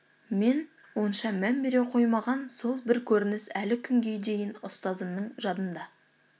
мен онша мән бере қоймаған сол бір көрініс әлі күнге дейін ұстазымның жадында